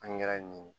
An ɲɛra ɲin